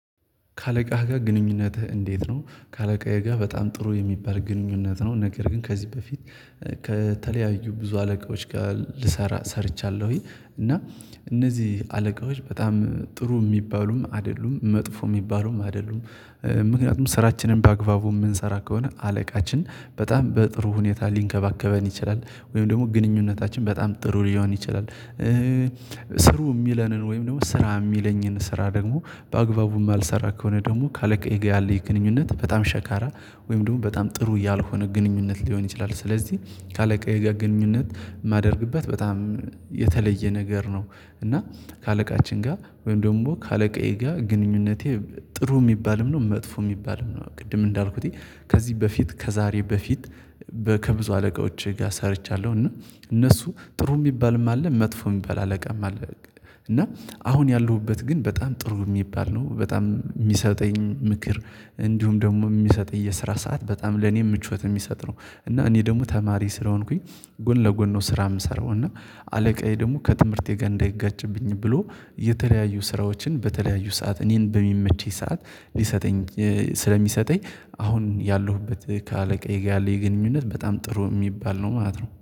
ከአለቃህ ጋር ግንኙነትህ እንዴት ነው? ከአለቃየ ጋር በጣም ጥሩ የሚባል ግንኙነት ነው ነገር ግን ከዚህ በፊት ከተለያዩ ብዙ አለቆች ጋር ልሰራ ሰርቻለሁኝ እና እነዚህ አለቃዎች በጣም ጥሩ የሚባሉም አይደሉም መጥፎ የሚባሉም አይደሉም ምክንያቱም ስራችንን በአግባቡ የምንሰራ ከሆነ አለቃችን በጣም በጥሩ ሁኔታ ሊንከባከበን ይችላል ወይም ደግሞ ግንኙነታችን በጣም ጥሩ ሊሆን ይችላል ስሩ የሚለንን ወይም ደግሞ ስራ የሚለኝን ስራ ደግሞ በአግባቡ እማልሰራ ከሆነ ደግሞ ካለቀ የጋ ያለ የግንኙነት በጣም ሸካራ ወይም ደግሞ በጣም ጥሩ ያልሆነ ግንኙነት ሊሆን ይችላል ስለዚህ ካለቃየ ጋር ግንኙነት የማደርግበት በጣም የተለየ ነገር ነው እና ከአለቃችን ጋር ወይም ደግሞ ከአለቃዬ ጋር ግንኙነቴ ጥሩ የሚባልም ነው መጥፎ የሚባልም ነው ቅድም እንዳልኩት ከዚህ በፊት ከዛሬ በፊት ከብዙ አለቃዎቼ ጋር ሰርቻለሁ እና እነሱ ጥሩ የሚባልም አለ መጥፎ የሚባል አለቃም አለ እና አሁን ያለሁበት ግን በጣም ጥሩ የሚባል ነው በጣም የሚሰጠኝ ምክር እንዲሁም ደግሞ የሚሰጥ የሰራ ሰዓት በጣም ለኔ ምቾት የሚሰጥ ነው እና እኔ ደግሞ ተማሪ ስለሆንኩኝ ጎን ለጎን ነው ስራ የምሰራው እና አለቃዬ ደግሞ ከትምህርቴ ጋር እንዳይጋጭብኝ ብሎ የተለያዩ ስራዎችን በተለያዩ ሰዓት እኔን በሚመችኝ ሰዓት ሊሰጠኝ ስለሚሰጠኝ አሁን ያለሁበት ከአለቃዬ ጋር ያለኝ ግንኙነት በጣም ጥሩ የሚባል ነው ማለት ነው